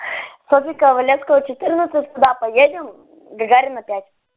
софьи ковалевской четырнадцать куда поедем гагарина пять